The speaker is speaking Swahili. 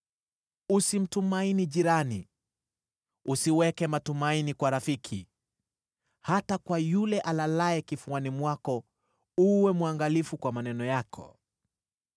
Usimtumaini jirani; usiweke matumaini kwa rafiki. Hata kwa yule alalaye kifuani mwako uwe mwangalifu kwa maneno yako.